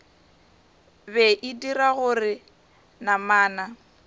be e dira gore namana